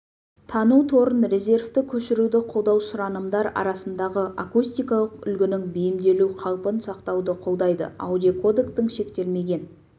тану торын резервті көшіруді қолдау сұранымдар арасындағы акустикалық үлгінің бейімделу қалпын сақтауды қолдайды аудиокодектің шектелмеген